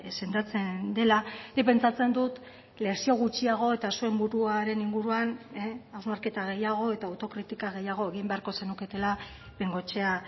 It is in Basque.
sendatzen dela nik pentsatzen dut lezio gutxiago eta zuen buruaren inguruan hausnarketa gehiago eta autokritika gehiago egin beharko zenuketela bengoechea